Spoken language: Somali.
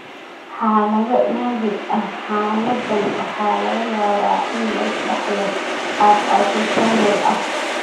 Xaalado naadir ah, xaaladdan waxaa laga yaabaa in lagu dhaxlo qaab autosomal ah.